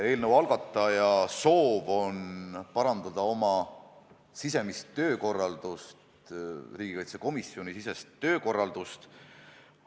Eelnõu algataja soov on parandada oma sisemist töökorraldust, riigikaitsekomisjonisisest töökorraldust.